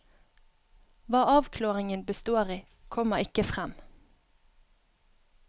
Hva avklaringen består i, kommer ikke frem.